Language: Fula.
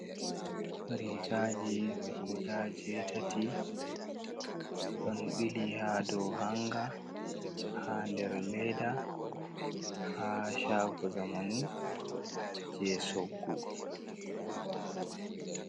Rigaji guda jo'itati ɗon ɓili ha do hanga ha nder leda ha chago zamanu je choggu.